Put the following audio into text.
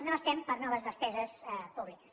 no estem per a noves despeses públiques